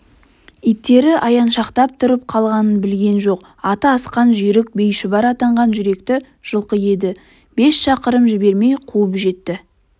иттері аяншақтап тұрып қалғанын білген жоқ аты асқан жүйрік байшұбар атанған жүректі жылқы еді бес шақырым жібермей қуып жетті